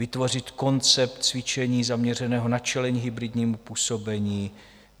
Vytvořit koncept cvičení zaměřeného na čelení hybridnímu působení.